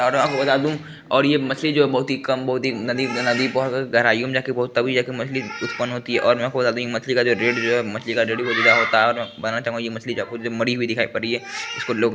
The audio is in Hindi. और आपको बता दूं और ये मछली जो है बहुत ही कम बहुत ही नदी नदी गहराइयों में जाके बहुत तभी जाके मछली उत्पन्न होती है और आपको बता दूं मछली का जो रेट है बहु महंगा होता है मरी हुई दिखाई पड़ी है। इसको लोग --